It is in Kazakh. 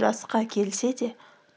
жасқа келсе де